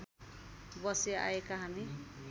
बसी आएका हामी